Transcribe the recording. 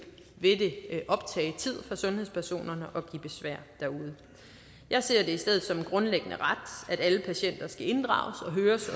vil det optage tid for sundhedspersonerne og give besvær derude jeg ser det i stedet som en grundlæggende ret at alle patienter skal inddrages og høres